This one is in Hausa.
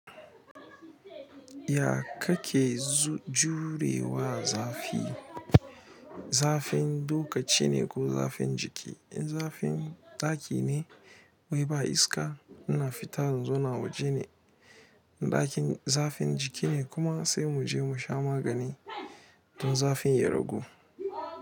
Ya kake jurewa zafi? Zafin lokacine ko zafin jiki in zafin ɗaki wai ba iska ina fita in zauna a wajene ɗakin zafin jikine kuma sai muje musha magani don zafin ya ragu.